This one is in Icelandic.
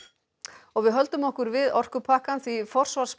og við höldum okkur við orkupakkann því forsvarsmenn